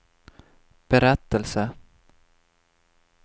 berättelse